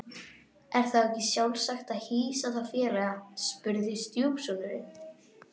Er þá ekki sjálfsagt að hýsa þá félaga? spurði stjúpsonurinn.